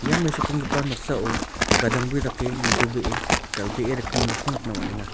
ia mesokenggipa noksao gadangbri dake nitobee dal·bee rikgimin nokko nikna man·enga.